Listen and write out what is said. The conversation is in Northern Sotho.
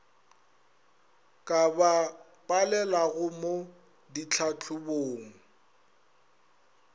ka ba palelago mo ditlhahlobong